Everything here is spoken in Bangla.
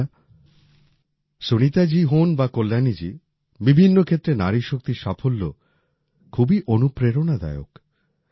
বন্ধুরা সুনীতাজী হোন বা কল্যাণীজী বিভিন্ন ক্ষেত্রে নারীশক্তির সাফল্য খুবই অনুপ্রেরণাদায়ক